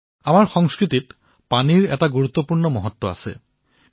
পানী আমাৰ সংস্কৃতিৰ এক গুৰুত্বপূৰ্ণ অংশ